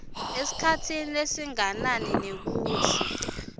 esikhatsini lesinganani nekutsi